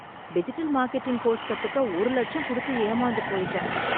digital marketing course கத்துக்க ஒரு லட்சம் கொடுத்து ஏமாந்து போயிட்டேன்